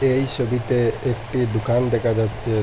এই সবিতে একটি দোকান দেখা যাচ্ছে।